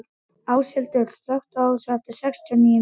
Áshildur, slökktu á þessu eftir sextíu og níu mínútur.